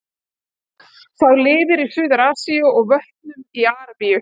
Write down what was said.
Sá lifir í Suður-Asíu og í vötnum í Arabíu.